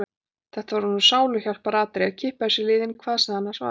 Þetta var honum sáluhjálparatriði: Að kippa þessu í liðinn, hvað sem það annars var.